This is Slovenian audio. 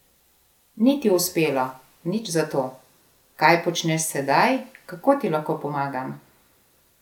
Ni ti uspelo, nič zato, kaj počneš sedaj, kako ti lahko pomagam?